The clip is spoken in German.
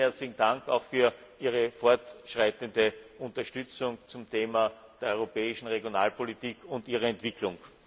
Vielen herzlichen Dank auch für Ihre fortschreitende Unterstützung zum Thema der europäischen Regionalpolitik und ihrer Entwicklung.